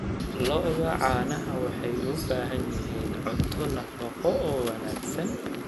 Lo'da caanaha waxay u baahan yihiin cunto nafaqo oo wanaagsan.